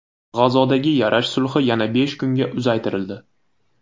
G‘azodagi yarash sulhi yana besh kunga uzaytirildi.